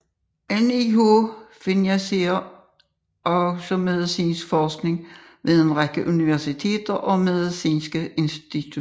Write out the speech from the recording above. NIH finansierer også medicinsk forskning ved en række universiteter og medicinske institutioner